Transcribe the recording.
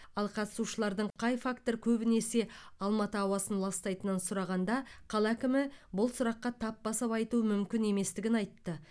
ал қатысушылардың қай фактор көбінесе алматы ауасын ластайтынын сұрағанда қала әкімі бұл сұраққа тап басып айту мүмкін еместігін айтты